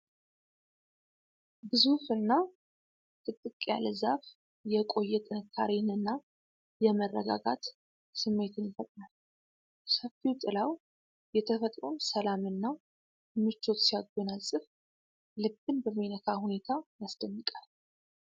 ግዙፍ እና ጥቅጥቅ ያለ ዛፍ የቆየ ጥንካሬንና የመረጋጋት ስሜትን ይፈጥራል። ሰፊው ጥላው የተፈጥሮን ሰላም እና ምቾት ሲያጎናፅፍ፣ ልብን በሚነካ ሁኔታ ያስደንቃል።